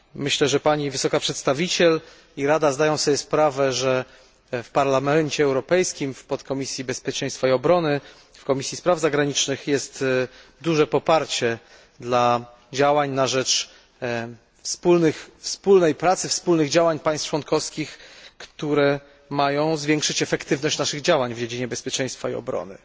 Myślę, że Pani Wysoka Przedstawiciel i Rada zdają sobie sprawę, że w Parlamencie Europejskim, w Podkomisji Bezpieczeństwa i Obrony, w Komisji Spraw Zagranicznych jest duże poparcie dla działań na rzecz wspólnej pracy, wspólnych działań państw członkowskich, które mają zwiększyć naszą efektywność w dziedzinie bezpieczeństwa i obrony.